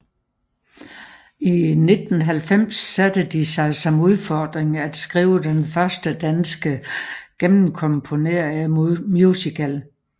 I 1990 satte de sig som udfordring at skrive den første danske gennemkomponerede musical